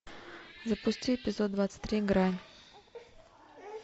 запусти эпизод двадцать три грань